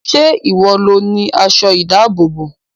Ṣé ìwọ lo ni aṣọ ìdábòbò?